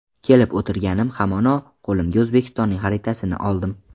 Kelib o‘tirganim hamono qo‘limga O‘zbekistonning xaritasini oldim.